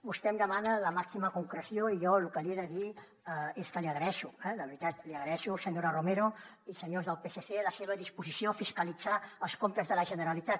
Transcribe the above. vostè em demana la màxima concreció i jo lo que li he de dir és que li agraeixo eh de veritat li agraeixo senyora romero i senyors del psc la seva disposició a fiscalitzar els comptes de la generalitat